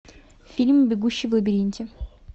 фильм бегущий в лабиринте